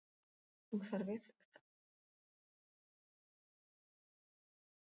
Og það virkar öðruvísi þegar maður horfir í augun á því.